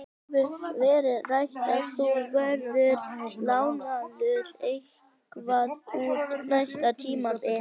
Hefur verið rætt að þú verðir lánaður eitthvað út næsta tímabil?